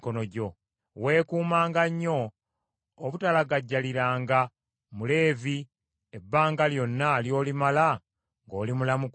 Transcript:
Weekuumanga nnyo obutalagajjaliranga Muleevi ebbanga lyonna ly’olimala ng’oli mulamu ku nsi.